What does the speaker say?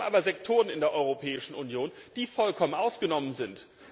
Wir haben aber Sektoren in der Europäischen Union, die vollkommen ausgenommen sind.